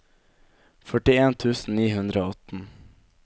førtien tusen ni hundre og atten